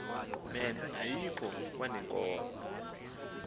men ayikho kwaneenkomo